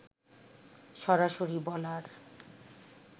সরাসরি বলার